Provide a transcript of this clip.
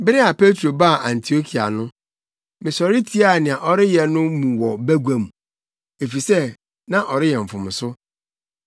Bere a Petro baa Antiokia no, mesɔre tiaa nea ɔreyɛ no mu wɔ bagua mu, efisɛ na ɔreyɛ mfomso.